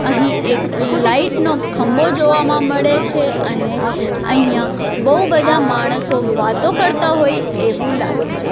અહીં એક લાઈટ નો ખંભો જોવામાં મળે છે અને અહીંયા બહુ બધા માણસો વાતો કરતા હોય એવું લાગે છે.